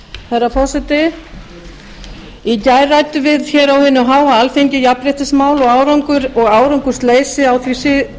herra forseti í gær ræddum við hér á hinu háa alþingi jafnréttismál og árangursleysi á